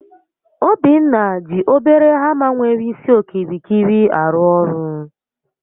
Obinna ji obere hama nwere isi okirikiri arụ ọrụ